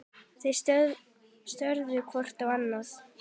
Þeir störðu hvor á annan.